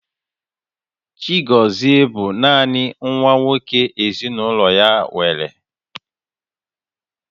Chigozie bụ naanị nwa nwoke ezinaụlọ ya nwere